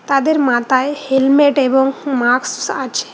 তাদের মাতায় হেলমেট এবং মাকস আছে।